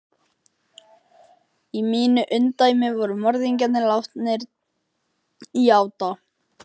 Í mínu ungdæmi voru morðingjar látnir játa.